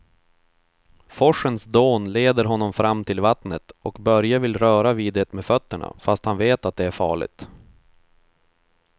Forsens dån leder honom fram till vattnet och Börje vill röra vid det med fötterna, fast han vet att det är farligt.